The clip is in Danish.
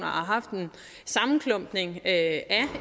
haft en sammenklumpning af